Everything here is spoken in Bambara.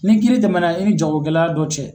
Ni kiiri tɛmɛna i ni jagokɛla dɔ cɛ